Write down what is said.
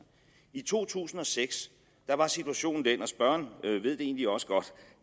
i to tusind og seks var situationen den og spørgeren ved det egentlig også godt